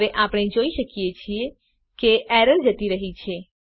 હવે આપણે જોઈ શકીએ છીએ કે એરર જતી રહ્યી છે